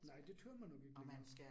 Nej, det tør man nok ikke længere